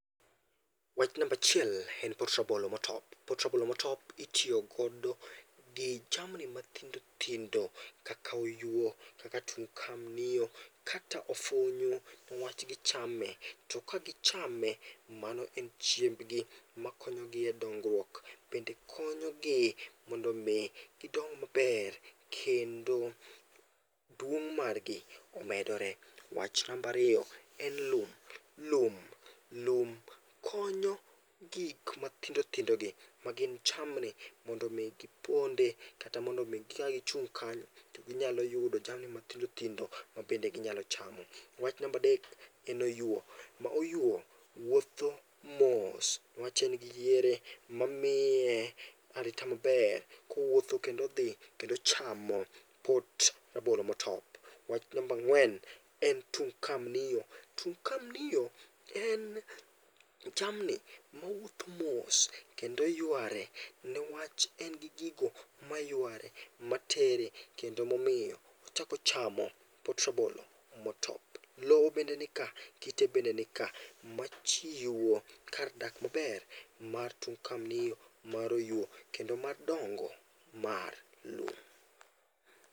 Wach namba achiel en pot rabolo motop. Pot rabolo motop itiyo godo gi jamni mathindo thindo kaka oyuo kaka tung kamnio kaka ofunyu niwach gichame. To ka gichame, mano en chiembgi makonyo gi e dongruok. Bende konyogi mondo mi gidong maber kendo duong' margi omedre. Wach namba ariyo, en lum . Lum lum konyo gik mathindo thindogi magin jamni mondo mi giponde kata mondo mi kagichung' kanyo to ginyalo yudo jamni mathindo thindo ma bende ginyalo chamo. Wach namba adek, en oyuo. Ma oyuo wuotho mos niwach en gi yiere mamiye arita maber kowuotho kendo odhi chamo pot rabolo motop. Wach namba ang'wen en tung kamnio. Tung kamnio en jamni mawuotho mos kendo yuare niwach engi gigo mayuare matere kendo emomiyo ochako chamo pot rabolo motop. Lowo bende nika, kite bende nika machiwo kar dak maber mar tung kamnio mar oyuo kendo madongo mar lum.